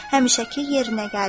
Həmişəki yerinə gəldi.